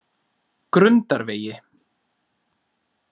Grundarvegi